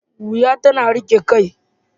Wuya tana riƙe kai.